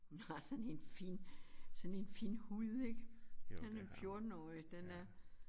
Hun har sådan en fin sådan en fin hud ik af en 14-årig den er